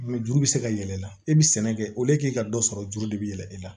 Juru bɛ se ka yɛlɛ i la e bɛ sɛnɛ kɛ k'i ka dɔ sɔrɔ juru de bɛ yɛlɛ e la